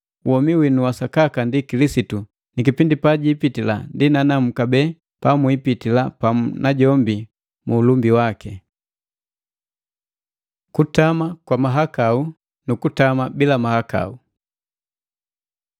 Womi winu wa sakaka ndi Kilisitu, ni kipindi pajipitila ndi nanamu kabee pamwipitila pamu najombi mu ulumbi waki. Kutama kwa mahakau nu kutama bila mahakau